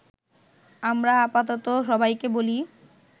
আমরা আপাতত সবাইকে বলি-